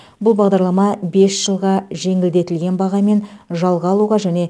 бұл бағдарлама бес жылға жеңілдетілген бағамен жалға алуға және